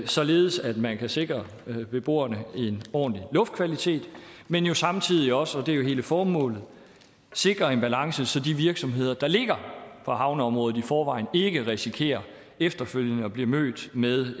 således at man kan sikre beboerne en ordentlig luftkvalitet men samtidig også og det er jo hele formålet sikre en balance så de virksomheder der ligger på havneområdet i forvejen ikke risikerer efterfølgende at blive mødt med